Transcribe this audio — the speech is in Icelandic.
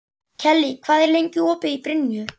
Kellý, hvað er lengi opið í Brynju?